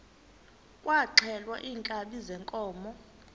kwaxhelwa iinkabi zeenkomo